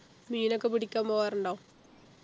മീനൊക്കെ പിടിക്കാൻ പോവാറുണ്ടോ